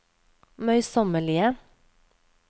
møysommelige